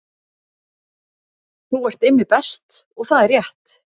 Þú ert Immi Best og það er rétt